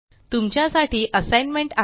तुमच्या साठी असाइनमेंट आहे